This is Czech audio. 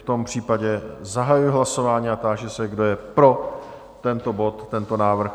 V tom případě zahajuji hlasování a táži se, kdo je pro tento bod, tento návrh?